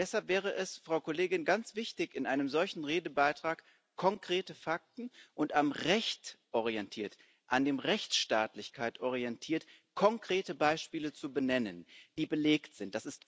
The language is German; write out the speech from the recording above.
Und deshalb wäre es ganz wichtig, in einem solchen Redebeitrag konkrete Fakten und am Recht orientierte, an der Rechtsstaatlichkeit orientierte konkrete Beispiele zu benennen, die belegt sind.